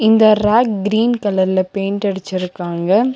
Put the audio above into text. இந்த rack green கலர்ல paint அடிச்சிருக்காங்க.